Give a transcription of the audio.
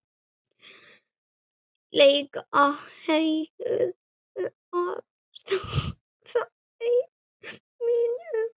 lega heilluð af starfi mínu.